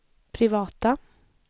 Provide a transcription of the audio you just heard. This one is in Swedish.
privata